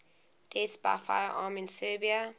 deaths by firearm in serbia